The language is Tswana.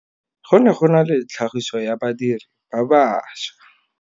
Go ne go na le tlhagisô ya badirir ba baša.